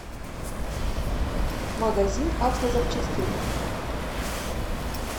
магазин автозапчастей